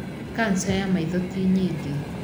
Kanca ya maitho ti nyingĩ.